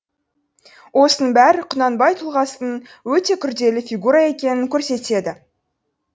осының бәрі құнанбай тұлғасының өте күрделі фигура екенін көрсетеді